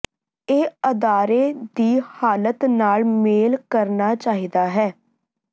ਇਹ ਅਦਾਰੇ ਦੀ ਹਾਲਤ ਨਾਲ ਮੇਲ ਕਰਨਾ ਚਾਹੀਦਾ ਹੈ